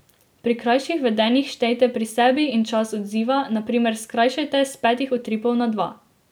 Pri krajših vedenjih štejte pri sebi in čas odziva, na primer skrajšajte s petih utripov na dva.